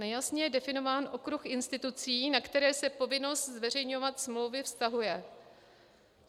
Nejasně je definován okruh institucí, na které se povinnost zveřejňovat smlouvy vztahuje.